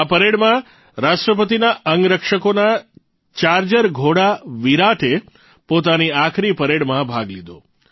આ પરેડમાં રાષ્ટ્રપતિના અંગરક્ષકોના ચાર્જર ઘોડા વિરાટે પોતાની આખરી પરેડમાં ભાગ લીધો